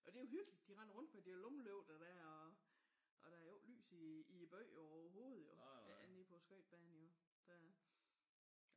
Og det er jo hyggeligt. De render rundt med de der lommelygter der og der er jo ikke lys i byen overhovedet jo andet end på skøjtebanen jo